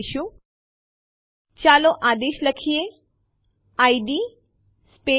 તેની હાજરી જોવા માટે એલએસ લખો અને Enter કળ દબાવો